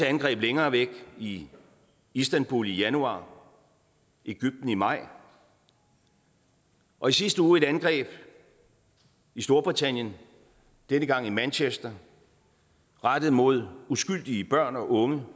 angreb længere væk i istanbul i januar og i ægypten i maj og i sidste uge et angreb i storbritannien denne gang i manchester rettet mod uskyldige børn og unge